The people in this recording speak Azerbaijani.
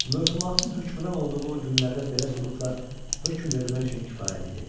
Möfhumatın hökmran olduğu o günlərdə belə sübutlar hökm vermək üçün kifayət idi.